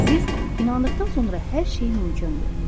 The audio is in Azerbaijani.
Siz inandıqdan sonra hər şey mümkündür.